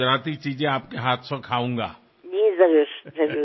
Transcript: ঘরে এসে আপনার নিজেরহাতেবানানো কিছু গুজরাটি খাবার খাব